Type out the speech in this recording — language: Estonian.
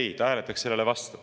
Ei, ta hääletaks selle vastu.